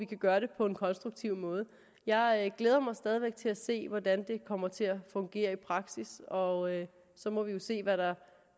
kan gøre det på en konstruktiv måde jeg glæder mig stadig væk til at se hvordan det kommer til at fungere i praksis og så må vi jo se hvad der